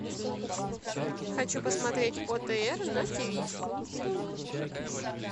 хочу посмотреть отр на тиви